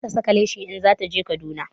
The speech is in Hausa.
Za ta saka leshi in zata je Kaduna